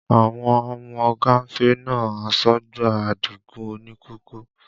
Àwọn ọmọ gánfè na asọ́gbà Adigun òní kòkó